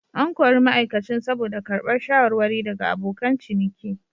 An kori ma'aikacin saboda karbar shawarwari daga abokan ciniki.